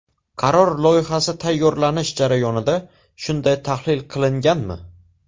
Qaror loyihasi tayyorlanish jarayonida shunday tahlil qilinganmi?